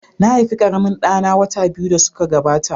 Na haifi ƙaramin ɗa na wata biyu da suka gabata.